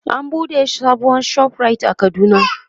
an buɗe sabuwar ShopRite a kaduna